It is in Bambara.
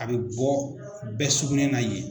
A bɛ bɔ bɛɛ sugunɛ na ɲyen.